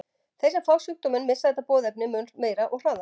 Þeir sem fá sjúkdóminn missa þetta boðefni mun meira og hraðar.